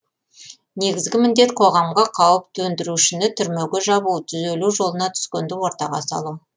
негізгі міндет қоғамға қауіп төндірушіні түрмеге жабу түзелу жолына түскенді ортаға салу